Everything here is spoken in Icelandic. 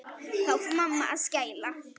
Þá fór mamma að skæla.